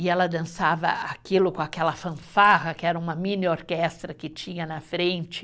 E ela dançava aquilo com aquela fanfarra, que era uma mini orquestra que tinha na frente.